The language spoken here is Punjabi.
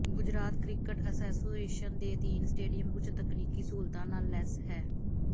ਗੁਜਰਾਤ ਕ੍ਰਿਕਟ ਐਸੋਸੀਏਸ਼ਨ ਦੇ ਅਧੀਨ ਸਟੇਡੀਅਮ ਉੱਚ ਤਕਨੀਕੀ ਸਹੂਲਤਾਂ ਨਾਲ ਲੈਸ ਹੈ